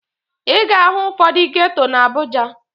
Ị ga-ahụ ụfọdụ geto na Abuja